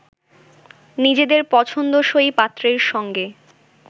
নিজেদের পছন্দসই পাত্রের সঙ্গে